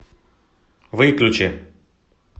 выключи